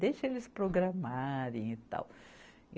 Deixa eles programarem e tal.